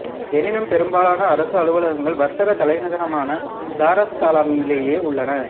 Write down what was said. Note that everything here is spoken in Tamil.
எனினும் பெரும்பாலான அரச அலுவலகங்கள் வர்த்தகத் தலைநகரமான தாருஸ்ஸலாமிலேயே உள்ளன